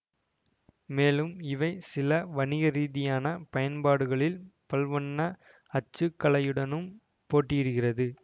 மேலும் இவை சில வணிகரீதியான பயன்பாடுகளில் பல்வண்ண அச்சுக்கலையுடனும் போட்டியிடுகிறது